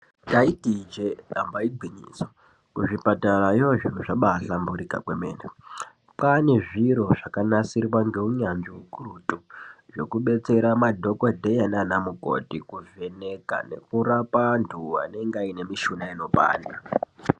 Ndaiti ijee, damba igwinyiso, kuzvipatarayo zviro zvabaahlamburika kwemene. Kwaane zviro zvakanasirwa ngeunyanzvi ukurutu, zvokubetsera madhokodheya naanamukoti kuvheneka nekurapa anthu anenga aine mishuna inopanda.